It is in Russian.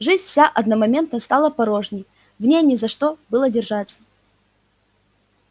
жизнь вся одномоментно стала порожней в ней не за что было держаться